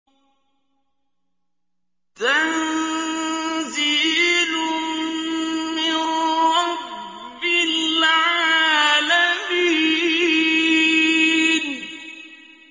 تَنزِيلٌ مِّن رَّبِّ الْعَالَمِينَ